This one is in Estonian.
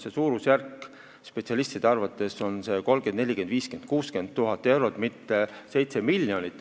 See suurusjärk spetsialistide arvates on 30 000, 40 000, 50 000 või 60 000 eurot, mitte 7 miljonit.